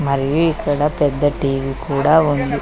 ఇక్కడ పెద్ద టీ_వి కూడా ఉంది.